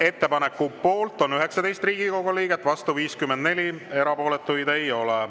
Ettepaneku poolt on 19 Riigikogu liiget, vastu 54, erapooletuid ei ole.